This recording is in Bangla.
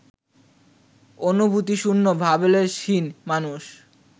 অনুভূতিশূন্য ভাবলেশহীন মানুষ